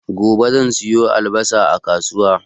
Gobe zan siyo albasa a kasuwa